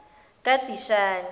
kadishani